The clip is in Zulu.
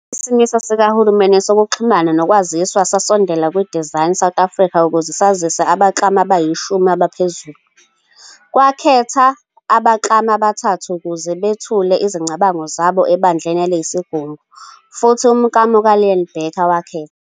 Khona Isimiso sikaHulumeni sokuXhumana noKwaziswa sasondela ku-Design South Africa ukuze sazise abaklami abayishumi abaphezulu. Kwakhetha abaklami abathathu ukuze bethule izicabango zabo eBandleni eliyisigungu, futhi umklamo ka-Iaan Bekker wakhethwa.